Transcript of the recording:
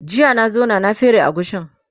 jiya na zauna na fere agushin